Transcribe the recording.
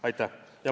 Aitäh!